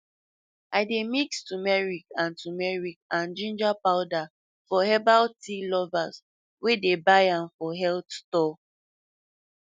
i dey mix turmeric and turmeric and ginger powder for herbal tea lovers wey dey buy am for health store